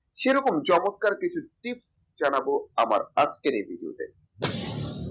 সেরকম চমৎকার কিছু tips জানাবো আমার আজকের এই video তে